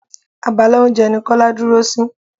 Abala oúnjẹ ní Kọ́lá dúró sí.